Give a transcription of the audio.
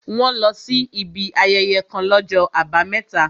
Wọ́n lọ sí ibi ayẹyẹ kàn l'ọ́jọ́ àbámẹ́ta